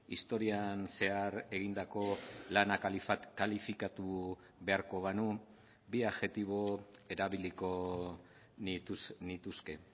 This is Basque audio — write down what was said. historian zehar egindako lana kalifikatu beharko banu bi adjektibo erabiliko nituzke